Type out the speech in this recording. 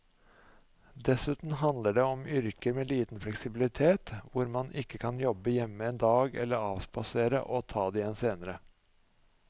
Dessuten handler det om yrker med liten fleksibilitet hvor man ikke kan jobbe hjemme en dag eller avspasere og ta det igjen senere.